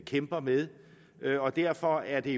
kæmper med og derfor er det